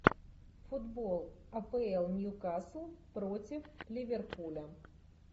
футбол апл ньюкасл против ливерпуля